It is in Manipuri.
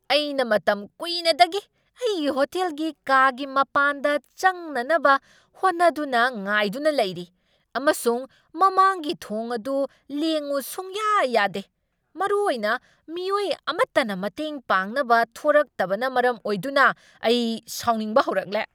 ꯑꯩꯅ ꯃꯇꯝ ꯀꯨꯏꯅꯗꯒꯤ ꯑꯩꯒꯤ ꯍꯣꯇꯦꯜꯒꯤ ꯀꯥꯒꯤ ꯃꯄꯥꯟꯗ ꯆꯪꯅꯅꯕ ꯍꯣꯠꯅꯗꯨꯅ ꯉꯥꯏꯗꯨꯅ ꯂꯩꯔꯤ, ꯑꯃꯁꯨꯡ ꯃꯃꯥꯡꯒꯤ ꯊꯣꯡ ꯑꯗꯨ ꯂꯦꯡꯉꯨ ꯁꯨꯡꯌꯥ ꯌꯥꯗꯦ! ꯃꯔꯨꯑꯣꯏꯅ ꯃꯤꯑꯣꯏ ꯑꯃꯇꯅ ꯃꯇꯦꯡ ꯄꯥꯡꯅꯕ ꯊꯣꯔꯛꯇꯕꯅ ꯃꯔꯝ ꯑꯣꯏꯗꯨꯅ ꯑꯩ ꯁꯥꯎꯅꯤꯡꯕ ꯍꯧꯔꯛꯂꯦ꯫